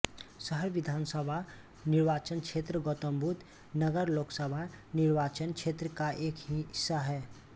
शहर विधानसभा निर्वाचन क्षेत्र गौतमबुद्ध नगर लोकसभा निर्वाचन क्षेत्र का एक हिस्सा है